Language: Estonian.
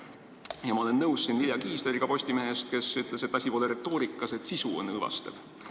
Ja ma olen nõus Vilja Kiisleriga Postimehest, kes ütles, et asi pole retoorikas, vaid sisu on õõvastav.